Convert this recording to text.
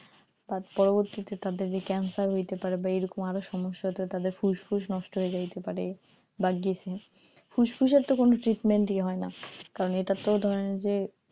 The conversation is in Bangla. তার পরবর্তীতে তাদের যে cancer হইতে পারে বা এরকম আরো সমস্যা হতে হয় তাদের ফুসফুস নষ্ট হয়ে যাইতে পারে বা গেছে ফুসফুসের তো কোনো treatment ই হয় না কারণ এটার তো ধরেন যে